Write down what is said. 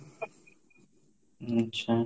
ଉଁ ଆଛା